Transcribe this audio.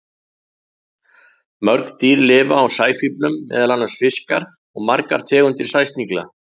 Mörg dýr lifa á sæfíflum, meðal annars fiskar og margar tegundir sæsnigla.